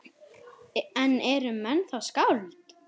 En eru menn þá skáld?